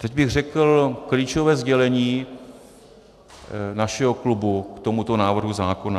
Teď bych řekl klíčové sdělení našeho klubu k tomuto návrhu zákona.